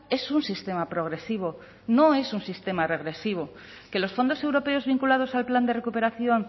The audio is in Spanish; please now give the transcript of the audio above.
es un sistema progresivo no es un sistema regresivo que los fondos europeos vinculados al plan de recuperación